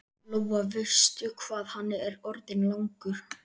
Lóa: Veistu hvað hann er orðinn langur?